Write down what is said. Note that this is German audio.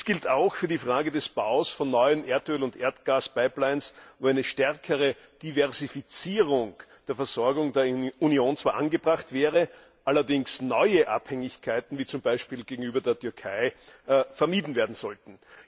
Dies gilt auch für die Frage des Baus von neuen Erdöl und Erdgaspipelines, wo eine stärkere Diversifizierung der Versorgung der Union zwar angebracht wäre, allerdings neue Abhängigkeiten, beispielsweise gegenüber der Türkei, vermieden werden sollten.